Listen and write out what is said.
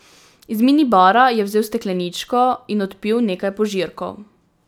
Iz mini bara je vzel stekleničko in odpil nekaj požirkov.